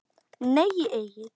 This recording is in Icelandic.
Nei Egill.